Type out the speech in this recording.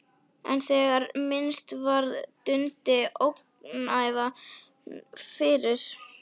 En þegar minnst varði dundi ógæfan yfir.